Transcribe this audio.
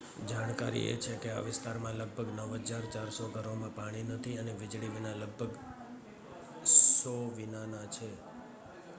જાણકારી એ છે કે આ વિસ્તારમાં લગભગ 9400 ઘરોમાં પાણી નથી અને વીજળી વિના લગભગ 100 વિનાનાં છે